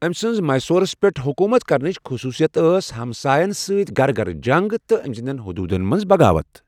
ٲمۍ سٕنٛز میسورس پٮ۪ٹھ حكوُمت كرنٕچ خصوُصیت ٲس ہمسایَن سۭتۍ گرِ گرِ جنٛگ تہٕ ٲمہِ سٕنٛدٮ۪ن حدۄُدن منز بغاوت ۔